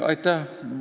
Aitäh!